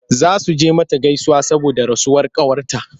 Za su je mata gaisuwa saboda rasuwar ƙawarta.